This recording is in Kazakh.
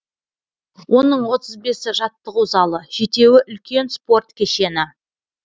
оның отыз бесі жаттығу залы жетеуі үлкен спорт кешені